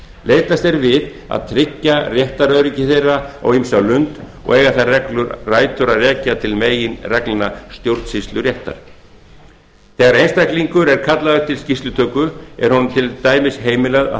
leitast er við að tryggja réttaröryggi þeirra á ýmsa lund og eiga þær reglur rætur að rekja til meginreglna stjórnsýsluréttar þegar einstaklingur er kallaður til skýrslutöku er honum til dæmis heimilað að